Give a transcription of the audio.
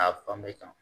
A fan bɛɛ kan